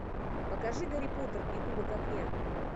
покажи гарри поттер и кубок огня